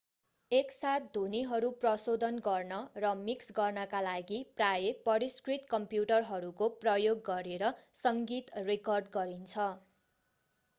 एकसाथ ध्वनिहरू प्रशोधन गर्न र मिक्स गर्नका लागि प्रायः परिष्कृत कम्प्युटरहरूको प्रयोग गरेर सङ्गीत रेकर्ड गरिन्छ